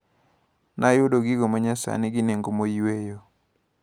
Nayudo gigo manyasani gi nengo moyweyo.